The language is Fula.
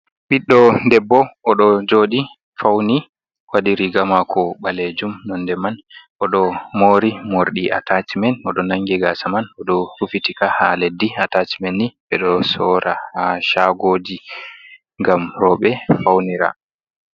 Ɓiɗɗo debbo. Oɗo jooɗi fauni waɗi riga maako ɓalejum nonde man. Oɗo moori morɗi atacimen, oɗo nangi gaasa man oɗo rufitika haa leddi. Atacimen ni, ɓe ɗo sora haa shaagoji, ngam rooɓe faunira.